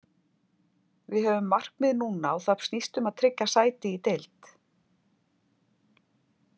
Við höfum markmið núna og það snýst um að tryggja sæti í deild.